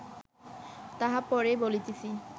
তাহা পরে বলিতেছি